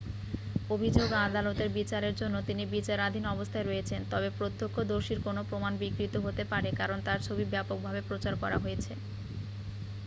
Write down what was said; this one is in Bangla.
অভিযোগ ও আদালতের বিচারের জন্য তিনি বিচারাধীন অবস্থায় রয়েছেন তবে প্রত্যক্ষদর্শীর কোনও প্রমাণ বিকৃত হতে পারে কারণ তার ছবি ব্যাপকভাবে প্রচার করা হয়েছে